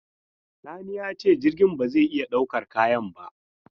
Sani ya ce jirgin ba zai iya daukar kayan ba.